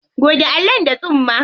Goge allon da tsumma.